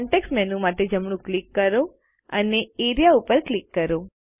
context menu માટે જમણું click કરો અને એઆરઇએ ઉપર ક્લિક કરો